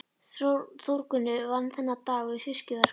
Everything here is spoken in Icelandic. Þórgunnur vann þennan dag við fiskverkun hjá